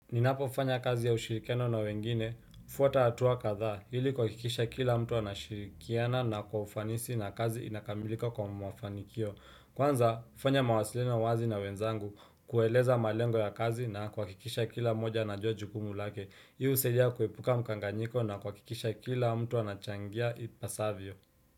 Ninapofanya kazi ya ushirikiano na wengine, fuata hatua kadha, ili kwa kuhakikisha kila mtu anashirikiana na kwa ufanisi na kazi inakamilika kwa mafanikio. Kwanza, fanya mawasiliano wazi na wenzangu, kueleza malengo ya kazi na kuhakikisha kila mmoja anajua jukumu lake. Hii husaidia kuepuka mkanganyiko na kuhakikisha kila mtu anachangia ipasavyo.